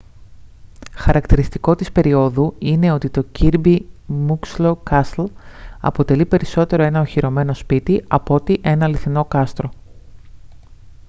χαρακτηριστικό της περιόδου είναι το ότι το kirby muxloe castle αποτελεί περισσότερο ένα οχυρωμένο σπίτι απ' ότι ένα αληθινό κάστρο